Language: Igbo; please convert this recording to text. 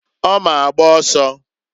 Ọ ma agba ọsọ.